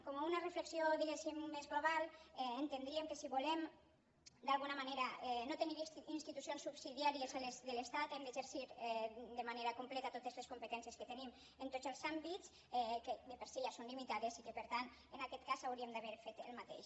com una reflexió diguem ne més global entendríem que si volem d’alguna manera no tenir institucions subsidiàries a les de l’estat hem d’exercir de manera completa totes les competències que tenim en tots els àmbits que de per si ja són limitades i per tant en aquest cas hauríem d’haver fet el mateix